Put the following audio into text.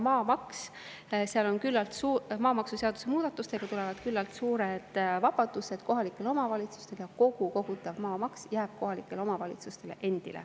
Maamaksuseaduse muudatustega tulevad küllalt suured vabadused kohalikele omavalitsustele ja kogu kogutav maamaks jääb kohalikele omavalitsustele endile.